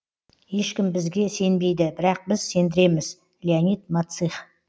ешкім бізге сенбейді бірақ біз сендіреміз леонид мацих